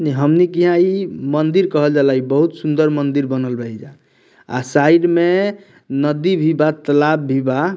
हमनिक यहाँ इ मंदिर कहल जाला इ बहुत सुंदर मंदिर बनल रही जा अ साइड में नदी भी बा तलाब भी बा।